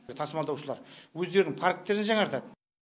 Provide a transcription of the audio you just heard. тасымалдаушылар өздерінің парктерін жаңартады